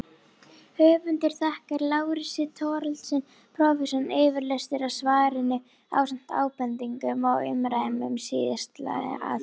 Höfundur þakkar Lárusi Thorlacius prófessor yfirlestur á svarinu ásamt ábendingum og umræðum um síðasttalda atriðið.